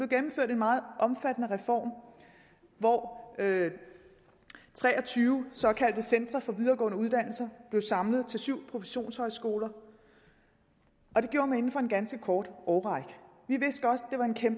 gennemført en meget omfattende reform hvor tre og tyve såkaldte centre for videregående uddannelser blev samlet til syv professionshøjskoler og det gjorde man inden for en ganske kort årrække